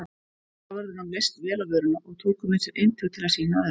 Fangavörðunum leist vel á vöruna og tóku með sér eintök til að sýna öðrum.